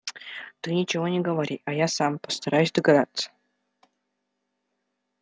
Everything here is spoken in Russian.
ты ничего не говори а я сам постараюсь догадаться